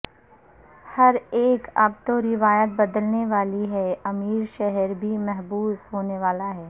ہر ایک اب تو روائیت بدلنے والی ہےامیر شہر بھی محبوس ہونے والا ہے